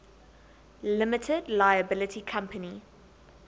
limited liability company